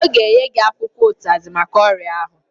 Ọ ga-enye gị akwụkwọ ụtazị maka ọrịa ahụ?